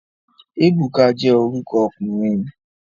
Ebuka je oruko okunrin